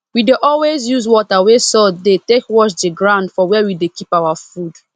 we dey always use water wey salt dey take wash the ground for where we dey keep our food